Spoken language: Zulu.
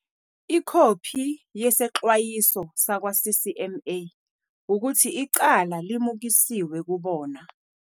Ikhophi yesexwayiso sakwa-CCMA ukuthi icala limukiswe kubona.